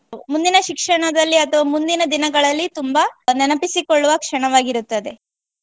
ಮುಂದಿನ ಶಿಕ್ಷಣದಲ್ಲಿ ಅಥವಾ ಮುಂದಿನ ದಿನಗಳಲ್ಲಿ ತುಂಬಾ ನೆನಪಿಸಿಕೊಳ್ಳುವ ಕ್ಷಣವಾಗಿರುತ್ತದೆ.